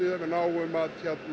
að við náum að